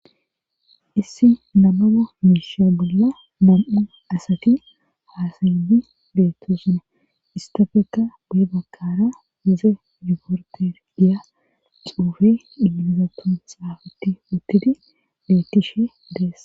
Issi namoba miisha bolla nam7u asati haasayidi beetto sunna istafekka bee bakara uze zuporte diya xuufe igilizatun saafatti uttidi bettishe dees